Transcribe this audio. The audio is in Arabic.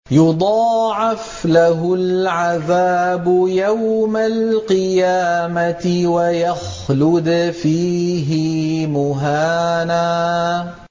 يُضَاعَفْ لَهُ الْعَذَابُ يَوْمَ الْقِيَامَةِ وَيَخْلُدْ فِيهِ مُهَانًا